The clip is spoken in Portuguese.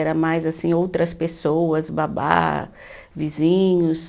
Era mais, assim, outras pessoas, babá, vizinhos